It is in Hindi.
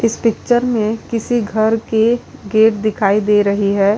इस पिक्चर में किसी घर के गेट दिखाई दे रही है।